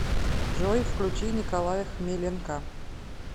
джой включи николая хмеленка